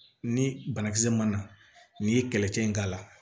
Ni banakisɛ mana n'i ye kɛlɛcɛ in k'a la